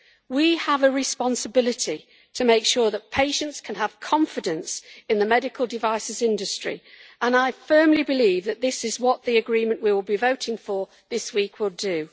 We have a responsibility to make sure that patients can have confidence in the medical devices industry and I firmly believe that this is what the agreement we will be voting for this week will do.